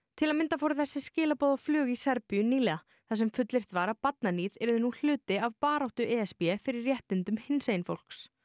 til að mynda fóru þessi skilaboð á flug í Serbíu nýlega þar sem fullyrt var að barnaníð yrði nú hluti af baráttu e s b fyrir réttindum hinsegin fólks